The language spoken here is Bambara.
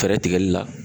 Fɛɛrɛ tigɛli la